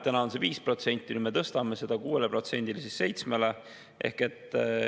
Täna on see 5%, nüüd me tõstame selle 6%‑le, siis 7%‑le.